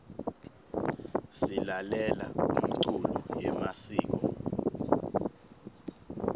silalela umculo yemasiko